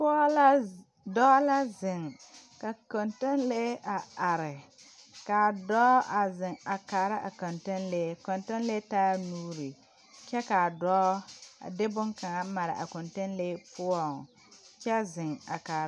Pɔɔ la dɔɔ la zeŋ ka kɔntɔnlee a are ka a dɔɔ a zeŋ a kaara a kɔntɔnlee a kɔntɔlee taa la nuuri kyɛ ka a dɔɔ a de boŋkaŋa mare a kɔntɔnlee poɔŋ kyɛ zeŋ a kaara.